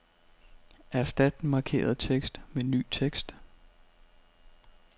Erstat den markerede tekst med ny tekst.